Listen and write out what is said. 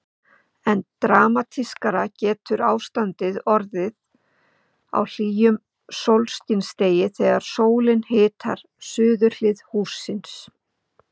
Enn dramatískara getur ástandið orðið á hlýjum sólskinsdegi þegar sólin hitar suðurhlið hússins.